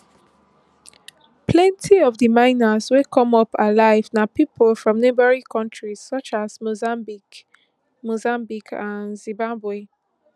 plenty of di miners wey come up alive na pipo from neighbouring kontris such as mozambique mozambique and zimbabwe